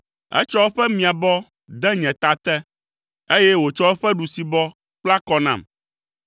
Etsɔ eƒe miabɔ de nye ta te, eye wòtsɔ eƒe ɖusibɔ kpla kɔ nam.